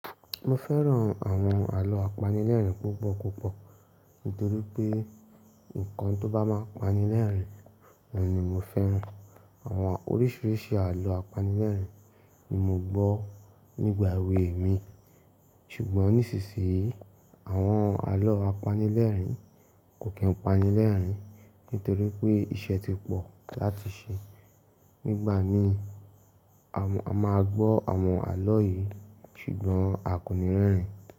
Mo fẹ́ràn àwọn àlọ́ apanilẹ́rìn púpọ̀ púpọ̀ nítorí pé nǹkan tó bá máa pani lẹ́rìn, òun ni mo fẹ́ràn. Àwọn oríṣiríṣi àlọ́ apanilẹ́rìn ni mo gbọ́ nígbà èwe mi ṣùgbọ́n nísinsìnyí àwọn àlọ́ apanilẹ́rìn kò kí n pani lẹ́rìn nítorí pé iṣẹ́ ti pọ̀ láti ṣe. Nígbà mi a máa gbọ́ àwọn àlọ́ yìí ṣùgbọ́n a kò ní rẹ́rìn ín.